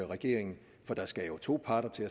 regeringen for der skal jo to parter til